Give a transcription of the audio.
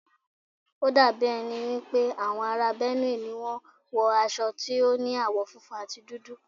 Ó dà mí ẹ ni wípé àwọn ará Benue ló ń wo aṣọ tó ní àwọ̀ funfun àti dúdú.